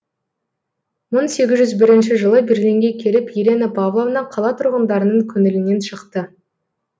мың сегіз жүз бірінші жылы берлинге келіп елена павловна қала тұрғындарының көңілінен шықты